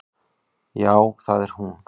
Já, það er hún.